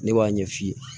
Ne b'a ɲɛ f'i ye